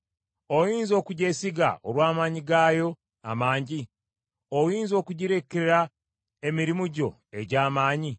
Oyinza okugyesiga olw’amaanyi gaayo amangi? Oyinza okugirekera emirimu gyo egy’amaanyi?